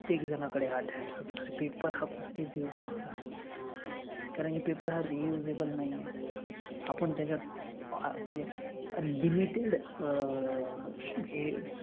प्रत्येक झनाकडे paper हा कुठेच use नाय होनार कारन की paper हा reusable नाई ए आपन त्याच्यात म्हनजे limited अं हे